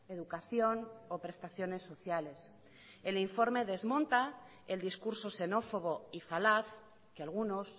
educación o prestaciones sociales el informe desmonta el discurso xenófobo y falaz que algunos